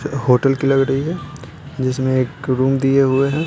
Hotel की लग रही है जिसमें एक रूम दिए हुए हैं।